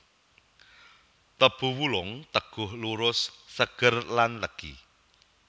Tebu wulung teguh lurus seger lan legi